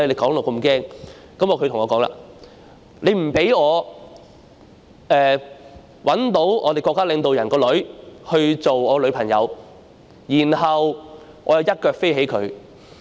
"他對我說："說不定我可找到我們國家領導人的女兒當我女朋友，然後我'一腳飛起她'。